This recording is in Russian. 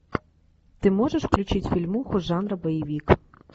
ты можешь включить фильмуху жанра боевик